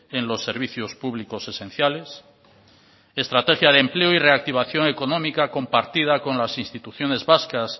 en los servicios públicos esenciales estrategia de empleo y reactivación económica compartida con las instituciones vascas